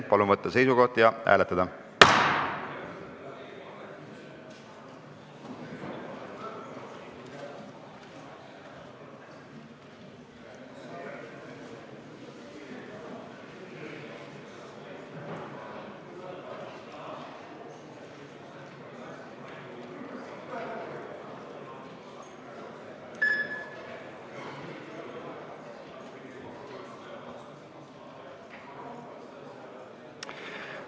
Palun võtta seisukoht ja hääletada!